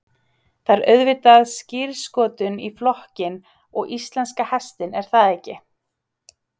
Það er auðvitað skírskotun í flokkinn og íslenska hestinn er það ekki?